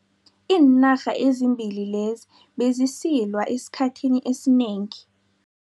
Iinarha ezimbili lezi bezisilwa esikhathini esinengi.